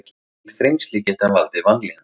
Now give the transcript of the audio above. Mikil þrengsli geta valdið vanlíðan.